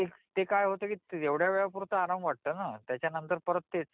ते काय होतं तेवढ्या वेळेपुरता आराम वाटतो ना त्याच्या नंतर परत तेच